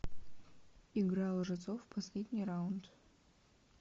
игра лжецов последний раунд